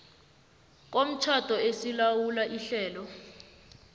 komtjhado esilawula ihlelo